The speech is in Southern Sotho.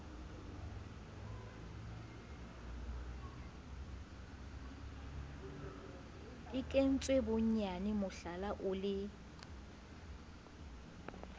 kentswe bonyane mohlala o le